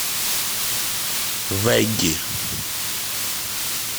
вэгги